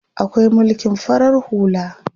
Akwai mulkin farar hula.